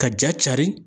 Ka ja cari